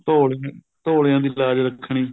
ਧੋਲਿਆ ਧੋਲਿਆ ਦੀ ਲਾਜ ਰੱਖਣੀ